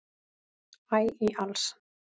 æ í alls